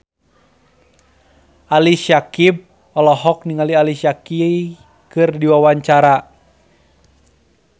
Ali Syakieb olohok ningali Alicia Keys keur diwawancara